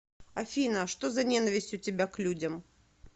афина что за ненависть у тебя к людям